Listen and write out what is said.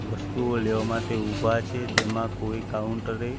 વસ્તુઓ લેવા માટે ઊભા છે તેમાં કોઈ કાઉન્ટર એ--